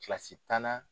Kilasi tanna